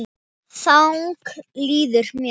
Þannig líður mér.